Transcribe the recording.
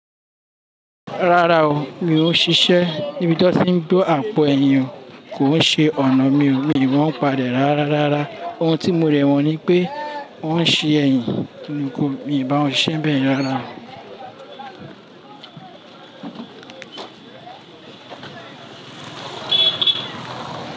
Rárá o, mi ò ṣiṣẹ́ níbi tí wọ́n ti ń gbé àpò ẹ̀yìn. Kò ń ṣe ọ̀nà mi o. Mi mọ́n pa e rárá rara. Ohun tí mo de mo ni pé o ń ṣe ẹ̀yìn, kò ní mi bá wọn ṣe bẹ́ẹ̀ rárá o.